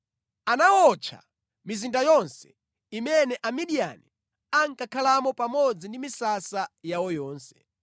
Anawotcha mizinda yonse imene Amidiyani ankakhalamo pamodzi ndi misasa yawo yonse.